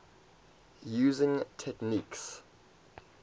using techniques